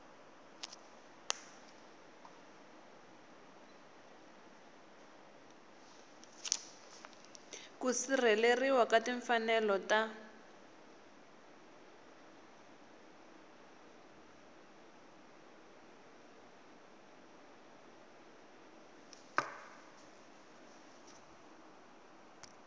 ku sirheleriwa ka timfanelo ta